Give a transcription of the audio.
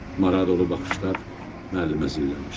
Maradolulu baxışlar müəllimə zillənmişdi.